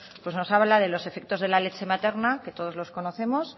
pues nos habla de los efectos de la leche materna que todos los conocemos